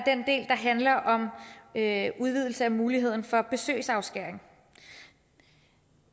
handler om en udvidelse af muligheden for besøgsafskæring